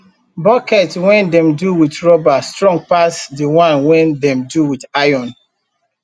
bucket wen dem do wit rubber strong pass de one wen dem do wit iron